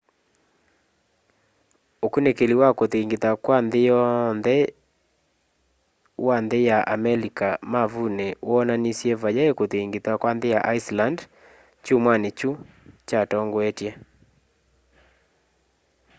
ũkunîkîli wa kûthingitha kwa nthî yonthe wa nthî ya amelika mavunî woonanisye vayai kûthingitha kwa nthî ya iceland kyumwanî kyu kyatongoetye